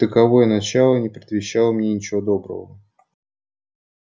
таковое начало не предвещало мне ничего доброго